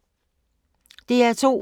DR2